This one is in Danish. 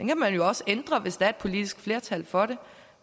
kan man jo også ændre hvis der er politisk flertal for det